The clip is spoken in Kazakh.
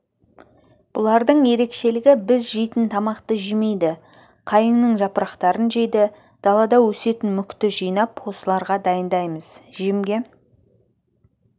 бұлардың ерекшелігі біз жейтін тамақты жемейді қайыңның жапырақтарын жейді далада өсетін мүкті жинап осыларға дайындаймыз жемге